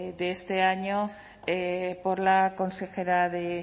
de este año por la consejera de